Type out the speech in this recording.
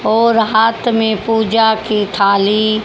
और हाथ में पूजा की थाली--